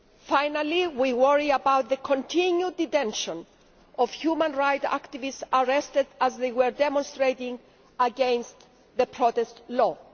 Finally, we worry about the continued detention of human rights activists arrested as they were demonstrating against the protest law.